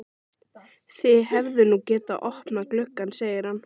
Þið hefðuð nú getað opnað gluggann, segir hann.